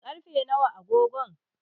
karfe nawa a agogon?